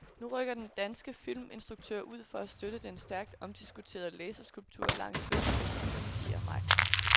Nu rykker danske filminstruktører ud for at støtte den stærkt omdiskuterede laserskulptur langs vestkysten den fjerde maj.